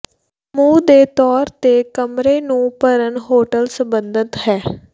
ਸਮੂਹ ਦੇ ਤੌਰ ਤੇ ਕਮਰੇ ਨੂੰ ਭਰਨ ਹੋਟਲ ਸੰਬੰਧਿਤ ਹੈ